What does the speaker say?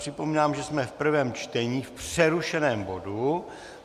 Připomínám, že jsme v prvém čtení v přerušeném bodu.